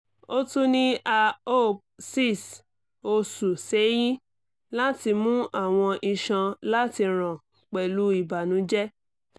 o tun ni a op six osu seyin lati mu awọn iṣan lati ran pẹlu ibanujẹ